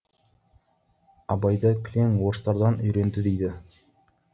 абайды кілең орыстардан үйренді дейді